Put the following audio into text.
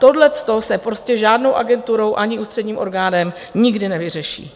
Tohle se prostě žádnou agenturou ani ústředním orgánem nikdy nevyřeší.